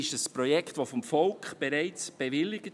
Das Projekt wurde vom Volk bereits bewilligt.